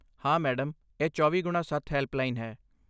ਹਾਂ, ਮੈਡਮ, ਇਹ ਚੌਵੀਂ ਗੁਣਾ ਸੱਤ ਹੈਲਪਲਾਈਨ ਹੈ